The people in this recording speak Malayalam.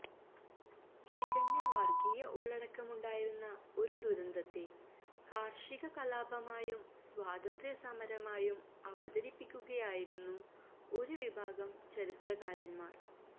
തികഞ്ഞ വര്ഗ്ഗീയ ഉള്ളടക്കമുണ്ടായിരുന്ന ഒരു ദുരന്തത്തെ കാര്ഷിക കലാപമായും സ്വാതന്ത്ര്യസമരമായും അവതരിപ്പിക്കുകയായിരുന്നു ഒരു വിഭാഗം ചരിത്രകാരന്മാര്